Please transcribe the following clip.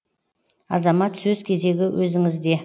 азамат сөз кезегі өзіңізде